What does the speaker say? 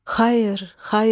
Xayır, xayır!